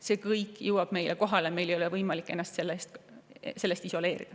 See kõik jõuab ka meieni, meil ei ole võimalik ennast isoleerida.